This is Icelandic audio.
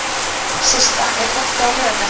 Systa, er bolti á laugardaginn?